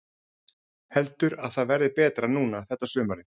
Heldur að það verði betra núna þetta sumarið?